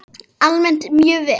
Almennt mjög vel.